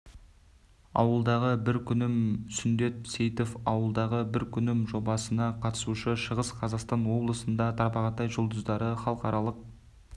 ауылдағы бір күнім сүндет сейітов ауылдағы бір күнім жобасына қатысушы шығыс қазақстан облысында тарбағатай жұлдыздары халықаралық